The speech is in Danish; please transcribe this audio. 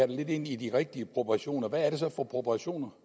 det lidt ind i de rigtige proportioner hvad er det så for proportioner